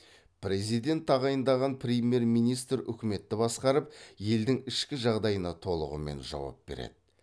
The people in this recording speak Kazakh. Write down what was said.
президент тағайындаған премьер министр үкіметті басқарып елдің ішкі жағдайына толығымен жауап береді